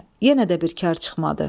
Yenə də bir kar çıxmadı.